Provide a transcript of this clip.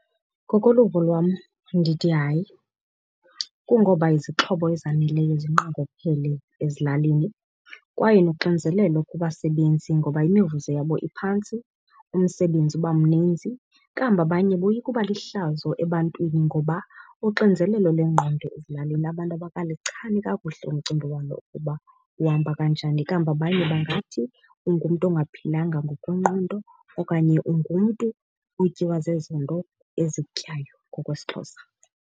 Ngokoluvo lwam, ndithi hayi. Kungoba izixhobo ezaneleyo zinqongophele ezilalini kwaye noxinizelelo kubasebenzi ngoba imivuzo yabo iphantsi umsebenzi uba mninzi. Kambe abanye boyika uba lihlazo ebantwini ngoba uxinzelelo lengqondo ezilalini abantu abakalichani kakuhle umcimbi walo uba uhamba kanjani. Kambe abanye bangathi ungumntu ongaphilanga ngokwengqondo okanye ungumntu otyiwa zezo nto ezikutyayo ngokwesiXhosa.